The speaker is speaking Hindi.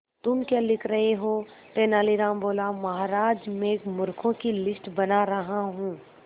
तुम क्या लिख रहे हो तेनालीराम बोला महाराज में मूर्खों की लिस्ट बना रहा हूं